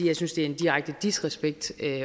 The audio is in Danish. jeg synes det er en direkte disrespekt